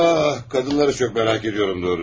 Ah, qadınları çox merak edirəm doğrusu.